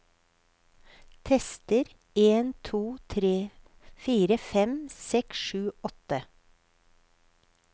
Tester en to tre fire fem seks sju åtte